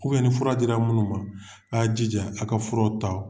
ni fura di la minnu ma a y'a jija a ka fura ta.